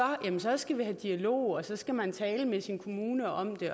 så skal vi have dialog og så skal man tale med sin kommune om det